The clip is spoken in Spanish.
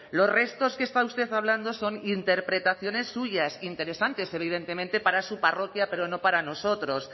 los restos que está usted hablando son interpretaciones suyas interesantes evidentemente para su parroquia pero no para nosotros